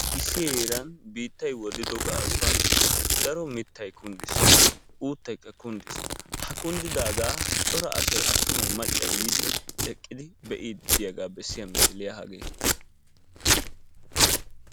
Issi heeran biittay woddido gaasuwan daro mittay kunddiis, uuttaykka kunddiis. Ha kunddidaagaa cora asay attumay maccay asay yiidi eqqidi be'iiddi diyagaa bessiya misiliya hagee